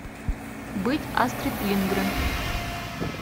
быть астрид линдгрен